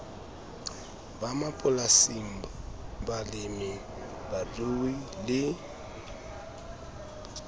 ba mapolasing balemi rui le